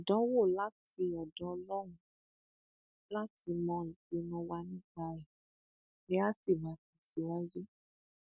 àdánwò láti ọdọ ọlọrun láti mọ ìpinnu wa nípa rẹ ni a sì máa tẹsíwájú